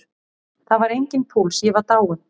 Það var enginn púls, ég var dáinn.